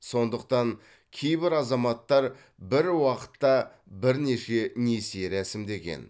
сондықтан кейбір азаматтар бір уақытта бірнеше несие рәсімдеген